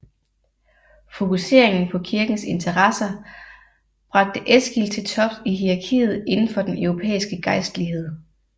Fokuseringen på kirkens interesser bragte Eskil til tops i hierarkiet inden for den europæiske gejstlighed